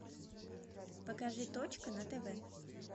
покажи точка на тв